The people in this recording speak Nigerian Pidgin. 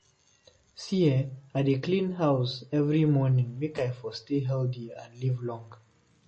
See ehn, I dey clean house every morning make I for stay healthy and live long.